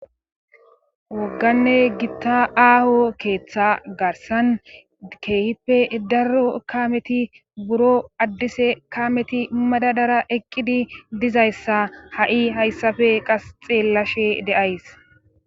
wogganne gitta aaho keeththa garsan keehippe darro kameti buro addise kameti madadara eqqidi dizayssa ha7i hayssafe qas xeellashe deays